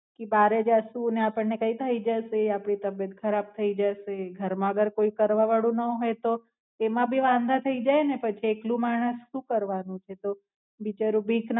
કી બારે જાસુ ને આપણને કઈ થાય જસે આપણી તબિયત ખરબ થાઈ જસે ઘરમાં અગર કોઈ કરવા વાળું ના હોય તો તેમાં ભી વાંધા થાય જાય ને પછી એકલું માણસ શું કરવાનું છે તો બિચારું બીક ના મારે ઈ પોતે Online જ